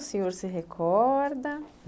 O senhor se recorda?